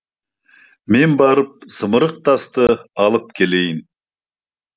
мен барып зымырық тасты алып келейін